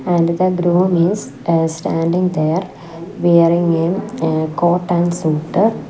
and the groom is uh standing there wearing a eh coat and suit.